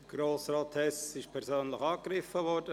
Grossrat Hess ist persönlich angegriffen worden.